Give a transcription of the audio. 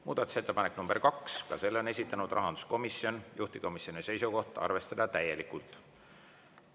Muudatusettepanek nr 2, ka selle on esitanud rahanduskomisjon, juhtivkomisjoni seisukoht on arvestada täielikult.